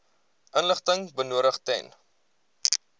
inligting benodig ten